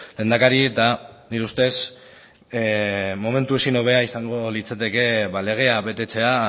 lehendakari eta nire ustez momentu ezin hobea izango litzateke legea betetzea